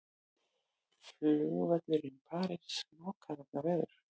Flugvöllum í París lokað vegna veðurs